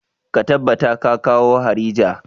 Ka tabbata ka kawo harija!